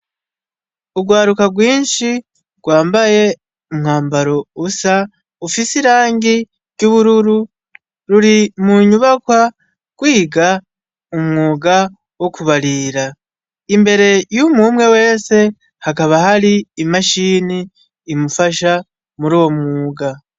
Urwaruka rwinshi rwambaye umwambaro usa ufise irangi ry’ubururu, ruri mu nyubakwa rwiga umwuga wo kubarira, imbere y’umwe umwe wese hakaba hari imashini imufasha muruwo mwuga.